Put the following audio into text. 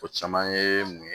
O caman ye mun ye